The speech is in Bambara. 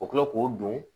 O bɛ kila k'o don